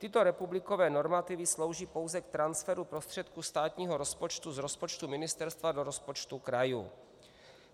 Tyto republikové normativy slouží pouze k transferu prostředků státního rozpočtu z rozpočtu ministerstva do rozpočtu krajů.